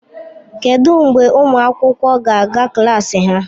Kedụ mgbe ụmụ akwụkwọ ga-aga klas ha?